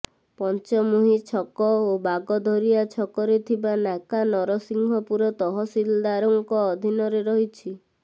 ପଞ୍ଚମୁହିଁ ଛକ ଓ ବାଗଧରିଆ ଛକରେ ଥିବା ନାକା ନରସିଂହପୁର ତହସିଲଦାରଙ୍କ ଅଧିନରେ ରହିଛି